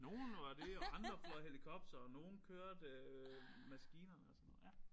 Nogle var det og andre fløj helikoptere og nogle kørte maskinerne og sådan noget ja